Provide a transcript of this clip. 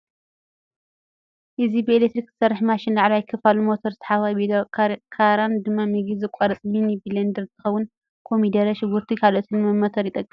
እዚ ብኤሌክትሪክ ዝሰርሕ ማሽን ላዕለዋይ ክፍሉ ሞተር ታሕተዋይ ቤትሮን ካራን ድማ ምግቢ ዝቖርፅ ሚኒ ብሌንደር እንትከውን፣ ኮሚደረ፡ ሽጉርቲ ካልኦትን ንመምተሪ ይጠቅም።